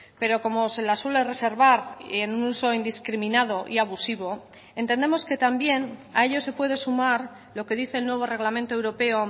pero como se la suele reservar en un uso indiscriminado y abusivo entendemos que también a ello se puede sumar lo que dice el nuevo reglamento europeo